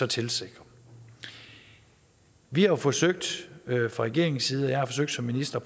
tilsikrer vi har forsøgt fra regeringens side og jeg har forsøgt som minister